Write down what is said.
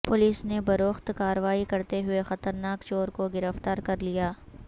police نے بروقت کارروائی کرتے ہوئے خطرناک چور کو گرفتار کرلیا